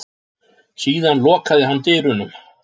Síðan lokaði hann dyrunum.